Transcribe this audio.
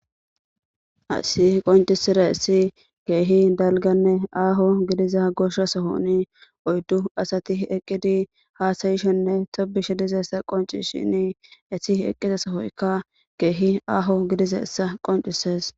Asi qoncisire esi keehi dalganne aaho gidiza goshsha sohoni oyddu asati eqqidi haasayishenne tobishi dizessa qonci shini esi eqqiza sohoykka keehi aaho gidiza essa qoncisees.